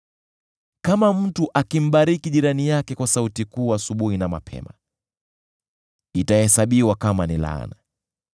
Kama mtu akimbariki jirani yake kwa sauti kuu asubuhi na mapema, itahesabiwa kama ni laana.